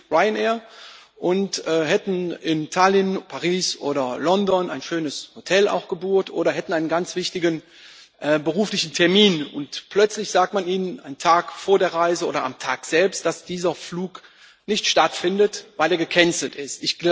mit Ryanair, und hätten in Tallinn, Paris oder London ein schönes Hotel gebucht, oder hätten einen ganz wichtigen beruflichen Termin und plötzlich sagt man Ihnen, einen Tag vor der Reise oder am Tag selbst, dass dieser Flug nicht stattfindet, weil er gecancelt ist.